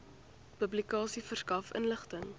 publikasie verskaf inligting